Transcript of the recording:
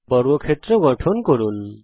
একটি বর্গক্ষেত্র গঠন করুন